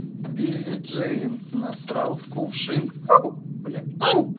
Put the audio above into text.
билли джин насрал в кувшин оу блядь ау